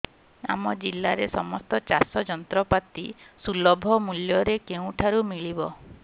ଆମ ଜିଲ୍ଲାରେ ସମସ୍ତ ଚାଷ ଯନ୍ତ୍ରପାତି ସୁଲଭ ମୁଲ୍ଯରେ କେଉଁଠାରୁ ମିଳିବ